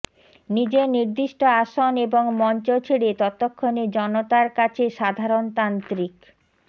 নিজের নির্দিষ্ট আসন এবং মঞ্চ ছেড়ে ততক্ষণে জনতার কাছে সাধারণতান্ত্রিক